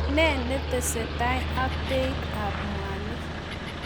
Ne netesetai ak beit ab mwanik?